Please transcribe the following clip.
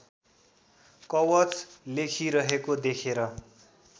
कवच लेखिरहेको देखेर